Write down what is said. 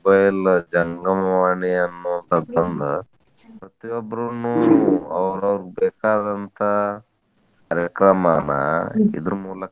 Mobile ಜಂಗಮವಾಣಿ ಅನ್ನು ಕಲ್ತಕೊಂಡ್ ಪ್ರತಿಯೊಬ್ಬರನು ಅವರೌರ ಬೇಕಾದಂತಾ ಕಾರ್ಯಕ್ರಮನ ಇದ್ರ ಮೂಲಕನೇ